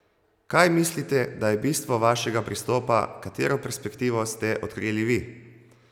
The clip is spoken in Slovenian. Kaj mislite, da je bistvo vašega pristopa, katero perspektivo ste odkrili vi?